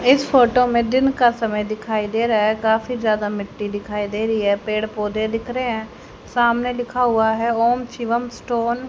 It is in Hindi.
इस फोटो में दिन का समय दिखाई दे रहा हैं काफी ज्यादा मिट्टी दिखाई दे रहीं हैं पेड़ पौधे दिख रहें हैं सामने लिखा हुवा हैं ओम शिवम स्टोन --